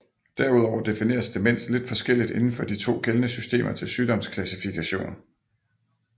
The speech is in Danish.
Derudover defineres demens lidt forskelligt inden for de to gældende systemer til sygdomsklassifikation